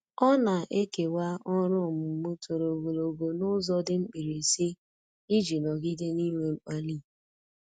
Ọ na-ekewa ọrụ ọmụmụ toro ogologo n'ụzọ dị mkpirisi iji nọgide n'inwe mkpali.